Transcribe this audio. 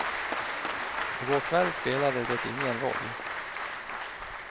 I går kväll spelade det ingen roll.